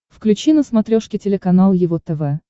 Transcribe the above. включи на смотрешке телеканал его тв